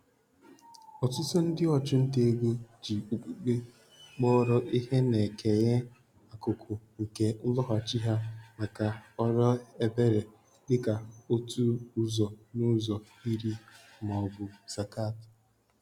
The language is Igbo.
Ọtụtụ ndị ọchụnta ego ji okpukpe kpọrọ ihe na-ekenye akụkụ nke nloghachi ha maka ọrụ ebere, dị ka otu ụzọ n'ụzọ iri maọbụ zakat.